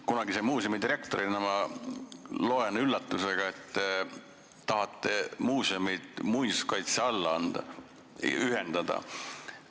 Kunagise muuseumidirektorina loen ma siit üllatusega, et te tahate muuseumid muinsuskaitse alla ühendada.